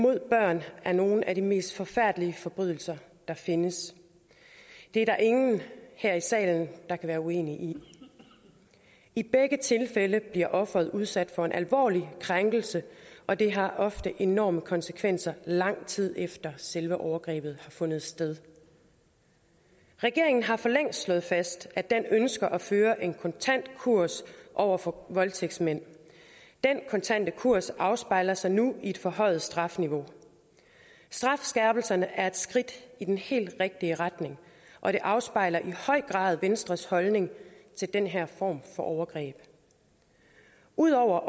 mod børn er nogle af de mest forfærdelige forbrydelser der findes det er der ingen her i salen der kan være uenige i i begge tilfælde bliver offeret udsat for en alvorlig krænkelse og det har ofte enorme konsekvenser i lang tid efter selve overgrebet har fundet sted regeringen har for længst slået fast at den ønsker at føre en kontant kurs over for voldtægtsmænd den kontante kurs afspejler sig nu i et forhøjet strafniveau strafskærpelserne er et skridt i den helt rigtige retning og det afspejler i høj grad venstres holdning til den her form for overgreb ud over